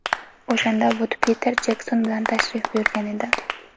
O‘shanda Vud Piter Jekson bilan tashrif buyurgan edi.